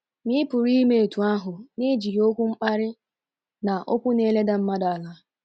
Ma ị pụrụ ime otú ahụ n’ejighị okwu mkparị, na okwu na-eleda mmadụ ala.